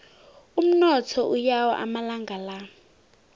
umnotho uyawa amalanga la